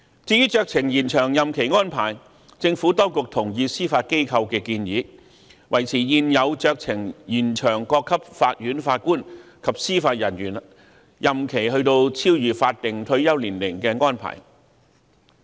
至於酌情延長任期安排，政府當局同意司法機構的建議，即維持現有酌情延長各級法院法官及司法人員任期超越法定退休年齡的安排。